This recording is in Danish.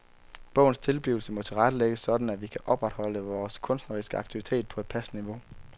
Bogens tilblivelse må tilrettelægges sådan at vi kan opretholde vores kunstneriske aktivitet på et passende niveau.